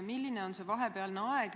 Milline on see vahepealne aeg?